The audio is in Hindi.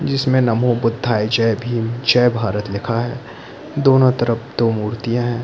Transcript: जिसमे नमो बुद्धाय जय भीम जय भारत लिखा है दोनों तरफ दो मुर्तियां है।